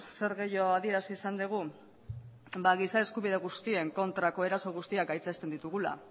zer gehiago adierazi izan dugu ba giza eskubide guztien kontrako eraso guztiak gaitzesten ditugula